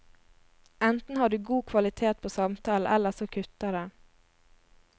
Enten har du god kvalitet på samtalen, eller så kutter den.